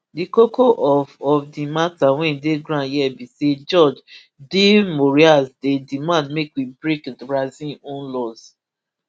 di koko of of di mata wey dey ground here be say judge de moraes dey demand make we break brazil own laws